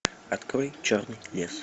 открой черный лес